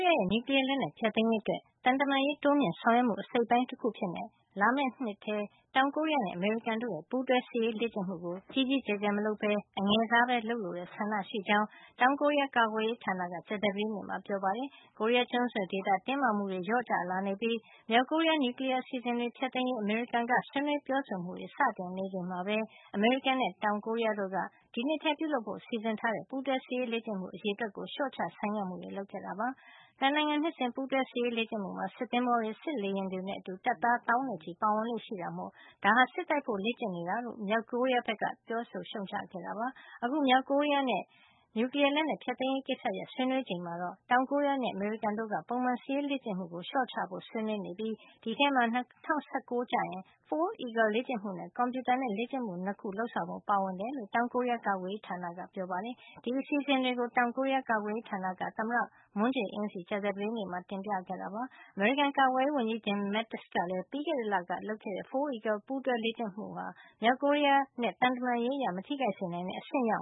ရဲ့ နျူကလီယားလက်နက် ဖျက်သိမ်းရေးအတွက် သံတမန်ရေး တိုးမြှင့်ဆောင်ရွက်မှု အစိတ်အပိုင်းတခုအဖြစ်လာမယ့်နှစ်မှာ တောင်ကိုရီးယားနဲ့ အမေရိကန်ရဲ့ ပူးတွဲစစ်ရေးလေ့ကျင့်မှုကို ကြီးကြီးကျယ်ကျယ် မလုပ်ပဲ အငယ်စားပဲ လုပ်လိုတဲ့ ဆန္ဒရှိကြောင်း တောင်ကိုရီးယား ကာကွယ်ရေးဌာနက ကြာသပတေးနေ့မှာ ပြောပါတယ်။ ကိုရီးယားကျွန်းဆွယ်ဒေသ တင်းမာမှုတွေ လျော့ကျလာနေပြီး မြောက်ကိုရီးယား နျူကလီယားအစီစဉ်တွေ ဖျက်သိမ်းရေး အမေရိကန်က ဆွေးနွေးပြောဆိုမှုတွေ စတင်နေချိန်မှာ အမေရိကန်နဲ့ တောင်ကိုရီးယားတို့က ဒီနှစ်ထဲပြုလုပ်ဖို့ စီစဉ်ထားတဲ့ ပူးတွဲစစ်ရေးလေ့ကျင့်မှု အရေအတွက်ကို လျှော့ချ ဆိုင်းငံ့မှုတွေ လုပ်ခဲ့တာပါ။ ၂ နိုင်ငံ နှစ်စဉ်ပူးတွဲစစ်ရေးလေ့ကျင့်မှုမှာ စစ်သင်္ဘောတွေ၊ စစ်လေယာဉ်တွေနဲ့အတူ တပ်သားသောင်းနဲ့ချီပါဝင်လေ့ရှိတာမို့ ဒါဟာ စစ်တိုက်ဖို့ လေ့ကျင့်နေတာလို့ မြောက်ကိုရီးယားက ပြောဆိုရှုံ့ချခဲ့တာပါ။ အခု မြောက်ကိုရီးယားနဲ့ နျူကလီယားလက်နက် ဖျက်သိမ်းရေးကိစ္စရပ်တွေ ဆွေးနွေးနေချိန်မှာတော့ တောင်ကိုရီးယားနဲ့ အမေရိကန်တို့ဟာ ပုံမှန်စစ်ရေးလေ့ကျင့်မှုကို လျှော့ချဖို့ ဆွေးနွေးနေပြီး ဒီအထဲမှာ ၂၀၁၉ ကျရင် Foal Eagle လေ့ကျင့်မှုနဲ့ ကွန်ပြုတာနဲ့ လေ့ကျင့်မှု ၂ ခု လုပ်ဆောင်ဖို့ ပါဝင်တယ်လို့ တောင်ကိုရီးယား ကာကွယ်ရေးဌာနက ပြောပါတယ်။ ဒီအစီအစဉ်တွေကို တောင်ကိုရီးယား ကာကွယ်ရေးဌာနက သမ္မတ Moon Jae-in ဆီ ကြာသပတေးနေ့မှာ တင်ပြခဲ့တာပါ။ အမေရိကန်ကာကွယ်ရေးဝန်ကြီး Jim Mattis ကလည်း ပြီးခဲ့တဲ့ လက ပြုလုပ်ခဲ့တဲ့ Foal Eagle ပူးတွဲလေ့ကျင့်မှုဟာ မြောက်ကိုရီးယားနဲ့ သံတမန်ရေးအရ မထိခိုက်စေနိုင်တဲ့ အဆင့်ရောက